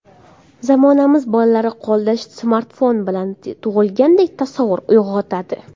Zamonamiz bolalari qo‘lda smartfon bilan tug‘ilgandek tasavvur uyg‘otadi.